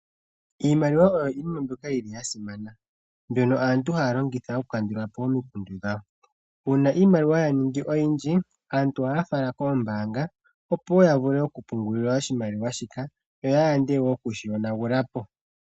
Iimaliwa oyo iinima mbyoka yili yasimana mbyono aantu haya longitha okukandulapo omikundu dhawo . Uuna iimaliwa yaningi oyindji aantu ohaya fala poombaanga opo woo yavule okupungula oshimaliwa shika, yo ya yande okushi yonapo.